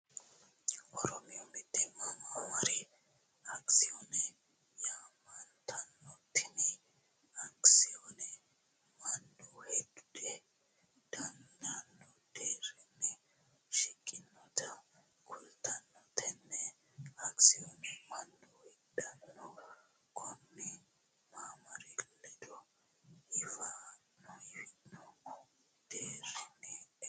Oromiyu mitimate maamari akkisoone yaamantanno, tini akkisoonenno manu hidha dandano deerinni shiqinotta kulitano, tene akkisonne manu hiidhanohu koni maamari ledo hifhino deerinni e'o afiranno